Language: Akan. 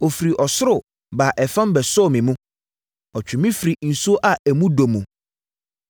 “Ɔfiri ɔsoro baa ɛfam bɛsɔɔ me mu; ɔtwee me firii nsuo a emu dɔ mu.